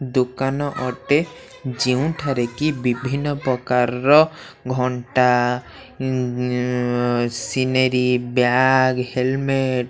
ଦୋକାନ ଅଟେ ଯେଉଁଠାରେ କି ବିଭିନ୍ନ ପକାରର ଘଣ୍ଟା ଉଁ ସିନେରି ବ୍ୟାଗ୍ ହେଲମେଟ --